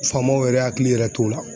Faamaw yɛrɛ hakili yɛrɛ t'o la.